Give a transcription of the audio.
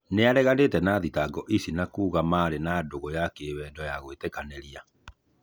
Nĩareganĩte na thitango icio na kuuga marĩ na dũgũ ya kĩwendo ya gwĩtĩkanĩria.